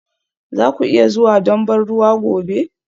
Za ku iya zuwa don ban ruwa gobe?